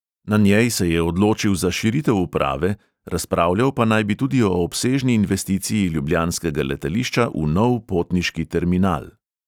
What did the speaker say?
Na njej se je odločil za širitev uprave, razpravljal pa naj bi tudi o obsežni investiciji ljubljanskega letališča v nov potniški terminal.